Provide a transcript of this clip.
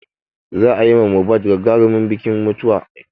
Za a yi ma Mohbad gagarimin bikin mutuwa.